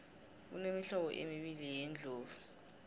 kunemihlobo embili yeendlovu